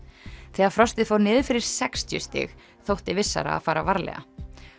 þegar frostið fór niður fyrir sextíu stig þótti vissara að fara varlega